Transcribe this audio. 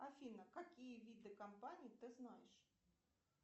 афина какие виды компаний ты знаешь